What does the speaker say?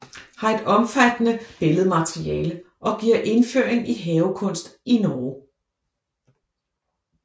Har et omfattende billedmateriale og giver indføring i havekunst i Norge